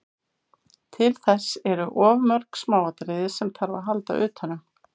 Til þess eru of mörg smáatriði sem þarf að halda utanum.